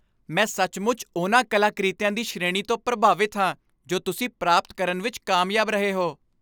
ਮੈਂ ਸੱਚਮੁੱਚ ਉਨ੍ਹਾਂ ਕਲਾਕ੍ਰਿਤੀਆਂ ਦੀ ਸ਼੍ਰੇਣੀ ਤੋਂ ਪ੍ਰਭਾਵਿਤ ਹਾਂ ਜੋ ਤੁਸੀਂ ਪ੍ਰਾਪਤ ਕਰਨ ਵਿੱਚ ਕਾਮਯਾਬ ਰਹੇ ਹੋ।